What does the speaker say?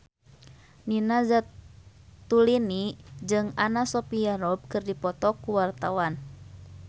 Nina Zatulini jeung Anna Sophia Robb keur dipoto ku wartawan